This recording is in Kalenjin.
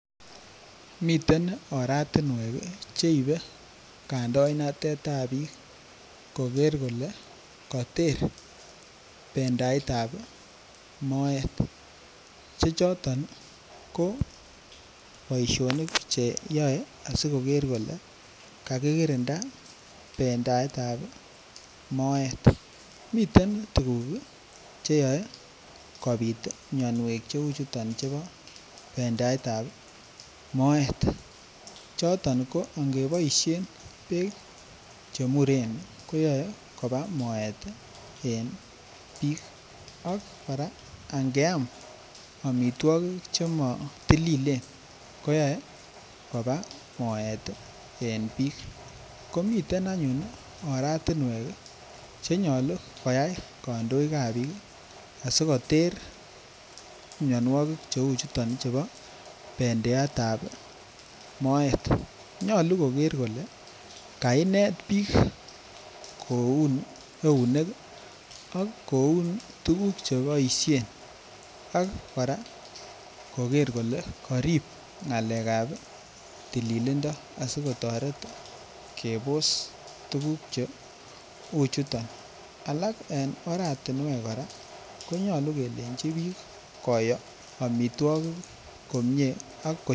Miten oratinwek Che ibe kandoinatetab bik koker kole koter bendietap moet Che choton ko boisionik Che yoe asi koger kole kagikirinda bendietap ab moet miten tuguk Che yoe kobit mianwogik cheu chu chebo bendietap moet choton ko angeboisien bek Che muren ko yoe koba moet en bik ak kora ange am amitwogik Che matililen koyoe koba moet en bik komiten anyuun oratinwek Che nyolu koyai kandoik ab bik asi koter mianwogik cheu chuton chebo bendietap moet nyolu koger kole kainet bik koun eunek ak koun tuguk Che boisien ak kora koger kole karib ngalekab tililindo asi kotoret kobos mianwogik cheu chuton alak en oratinwek kora ko nyolu kelenji bik koyoo amitwogik komie